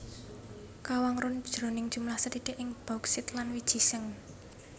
Kawangun jroning jumlah sethithik ing bauksit lan wiji seng